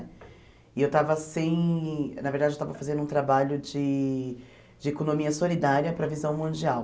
E eu estava sem, na verdade, eu estava fazendo um trabalho de de economia solidária para a visão mundial.